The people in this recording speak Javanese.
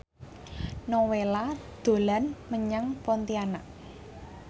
Nowela dolan menyang Pontianak